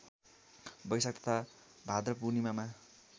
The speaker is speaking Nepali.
वैशाख तथा भाद्रपूणिर्मामा